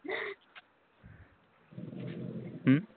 ਹੂ